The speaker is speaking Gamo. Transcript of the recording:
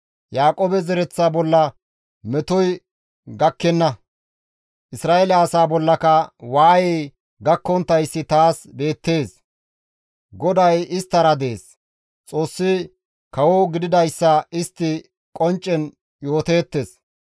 Yaaqoobe zereththa bolla metoy gakkenna; Isra7eele asaa bollaka waayey gakkonttayssi taas beettees; GODAY isttara dees; Xoossi kawo gididayssa istti qonccen yooteettes.